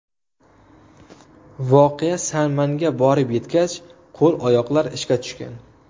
Voqea san-manga borib yetgach qo‘l-oyoqlar ishga tushgan.